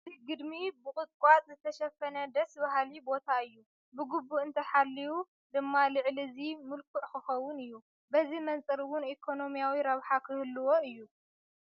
እዚ ግድሚ ብቑጥቋጦ ዝተሸፈነ ደስበ በሃሊ ቦታ እዩ፡፡ ብግቡእ እንተተሓልዩ ድማ ልዕሊ እዚ ምልኩዕ ክኸውን እዩ፡፡ በዚ መንፅር እውን ኢኮነሚያዊ ረብሓ ክህልዎ እዩ፡፡